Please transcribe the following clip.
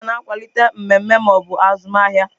Flaiya na-akwalite mmemme ma ọ bụ azụmahịa.